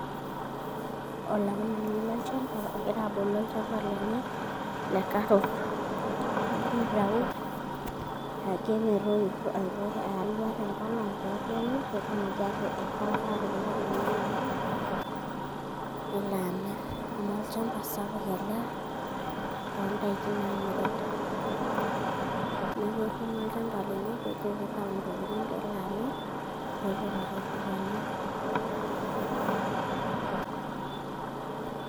Olairemoni lolchamba ogira abolu olchamba lenye le carrots egira aitayu airragie alua tenkolong' peetoyu peetumoki aipaaka atipika ilkuniani nelo amirr, amu olchamba sapuk ele loondaiki naamiri. Neeku etuuno olchamba lenye peejo kitayu ntokitin peelo amirr peetum iropiyiani.